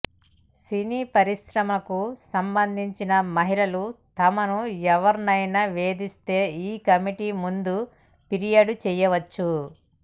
సినీ పరిశ్రమకు సంబంధించిన మహిళలు తమను ఎవరైనా వేధిస్తే ఈ కమిటీ ముందు ఫిర్యాదు చేయవచ్చు